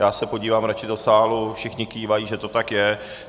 Já se podívám radši do sálu, všichni kývají, že to tak je.